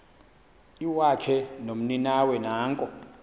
iwakhe nomninawe nanko